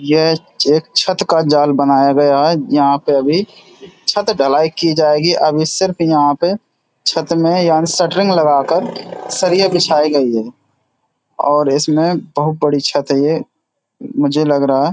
ये एक छत का जाल बनाया गया है जहां पे अभी छत ढलाई की जाएगी अभी सिर्फ यहाँ पे छत में याने शटरिंग लगा कर सरिया बिछाई गयी है और इसमें बहोत बड़ी छत है ये मुझे लग रहा है।